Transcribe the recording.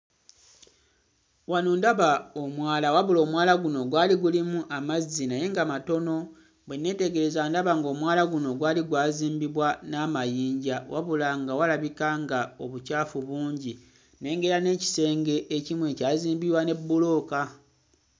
Wano ndaba omwala, wabula omwala guno gwali gulimu amazzi naye nga matono. Bwe nneetegereza ndaba ng'omwala guno gwali gwazimbibwa n'amayinja wabula nga walabika nga obukyafu bungi. Nnengera n'ekisenge ekimu ekyazimbibwa ne bbulooka.